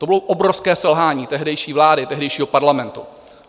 To bylo obrovské selhání tehdejší vlády, tehdejšího Parlamentu.